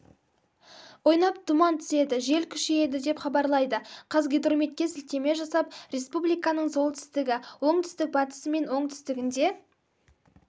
ойнап тұман түседі жел күшейеді деп хабарлайды қазгидрометке сілтеме жасап республиканың солтүстігі оңтүстік-батысы мен оңтүстігінде